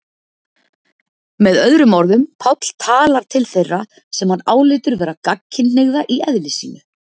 Með öðrum orðum, Páll talar til þeirra sem hann álítur vera gagnkynhneigða í eðli sínu.